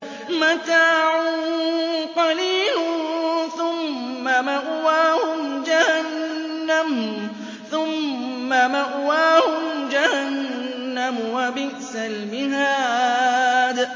مَتَاعٌ قَلِيلٌ ثُمَّ مَأْوَاهُمْ جَهَنَّمُ ۚ وَبِئْسَ الْمِهَادُ